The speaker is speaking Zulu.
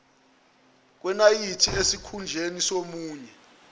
kwenayithi esikhunjeni somunwe